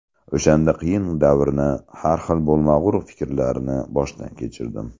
O‘shanda qiyin davrni, har xil bo‘lmag‘ur fikrlarni boshdan kechirdim.